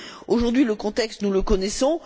Aujourd'hui, le contexte, nous le connaissons.